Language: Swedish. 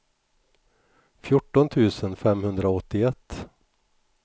fjorton tusen femhundraåttioett